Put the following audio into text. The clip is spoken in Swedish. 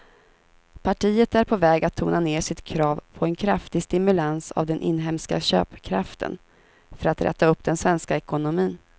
Partiet är på väg att tona ner sitt krav på en kraftig stimulans av den inhemska köpkraften för att räta upp den svenska ekonomin.